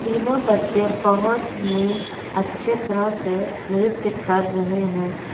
तीनों बच्चे बहुत ही अच्छे तरह से नृत्य कर रहे हैं।